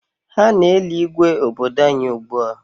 Ha na-eli Igwe obodo anyị ugbua.